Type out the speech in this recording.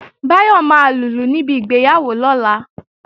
Báyọ̀ máa lùlù níbi ìgbéyàwó lọ́la